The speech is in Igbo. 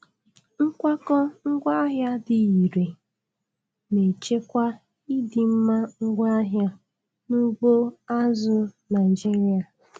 Nkwakọ ngwaahịa dị irè na-echekwa ịdịmma ngwaahịa n'ugbo azụ̀ Naịjiria.